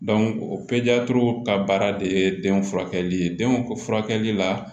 o pezeliw ka baara de ye den furakɛli denw furakɛli la